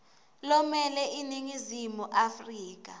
lomele iningizimu afrika